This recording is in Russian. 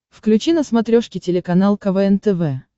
включи на смотрешке телеканал квн тв